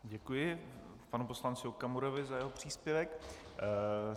Děkuji panu poslanci Okamurovi za jeho příspěvek.